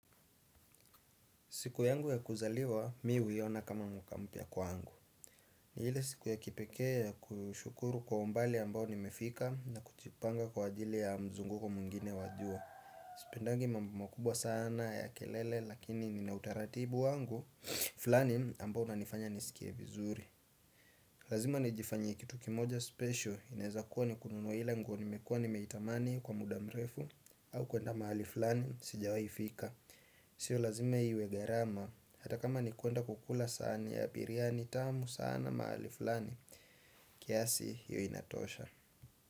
Siku yangu ya kuzaliwa, mi huiona kama mwaka mpya kwangu. Ni hile siku ya kipekee ya kushukuru kwa umbali ambao nimefika na kujipanga kwa ajili ya mzunguko mwingine wa jua. Sipendangi mambo makubwa sana ya kelele lakini nina utaratibu wangu, flani ambao unanifanya nisikie vizuri. Lazima nijifanyie kitu kimoja special, inaeza kuwa ni kununua ile nguo nimekuwa nimeitamani kwa muda mrefu, au kuenda mahali flani, sijawai fika. Sio lazima iwe gharama. Hata kama ni kuenda kukula sahani ya biriani tamu sana mahali fulani kiasi hio inatosha.